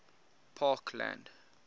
parkland